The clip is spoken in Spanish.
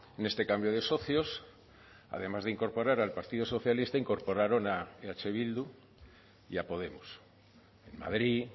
en este cambio de socios además de incorporar al partido socialista incorporaron a eh bildu y a podemos en madrid